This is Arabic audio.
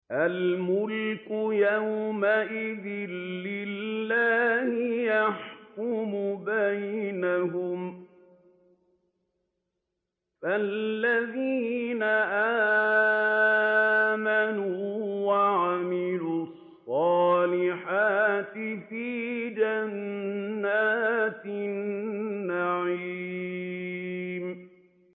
الْمُلْكُ يَوْمَئِذٍ لِّلَّهِ يَحْكُمُ بَيْنَهُمْ ۚ فَالَّذِينَ آمَنُوا وَعَمِلُوا الصَّالِحَاتِ فِي جَنَّاتِ النَّعِيمِ